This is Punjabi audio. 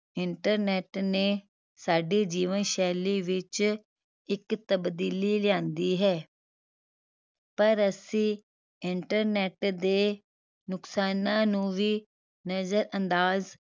internet ਨੇ ਸਾਡੀ ਜੀਵਨ ਸ਼ੈਲੀ ਵਿਚ ਇਕ ਤਬਦੀਲੀ ਲਿਆਂਦੀ ਹੈ ਪਰ ਅਸੀਂ internet ਦੇ ਨੁਕਸਾਨਾਂ ਨੂੰ ਵੀ ਨਜ਼ਰਅੰਦਾਜ਼